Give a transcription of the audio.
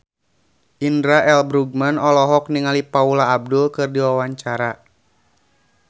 Indra L. Bruggman olohok ningali Paula Abdul keur diwawancara